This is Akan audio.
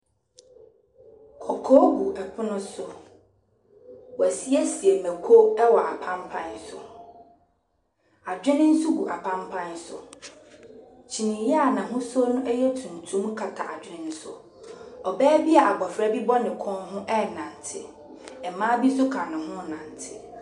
Kɔkɔɔ gu ɛpono so. Wɔasiesie no kuo wɔ apampaa so. Adwene nso gu apampaa so. Kyiniiɛ a n'ahosuo no yɛ tuntum kata adwene no so. Ɔbaa bi a abɔfra bi bɔ ne kɔn ho renante. Mmaa bi nso ka ne ho renante.